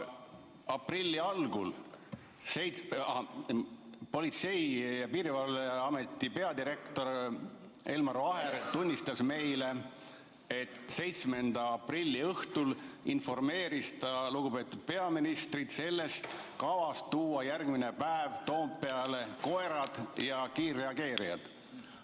Aprilli algul tunnistas Politsei- ja Piirivalveameti peadirektor Elmar Vaher meile, et 7. aprilli õhtul informeeris ta lugupeetud peaministrit kavast tuua järgmisel päeval Toompeale koerad ja kiirreageerijad.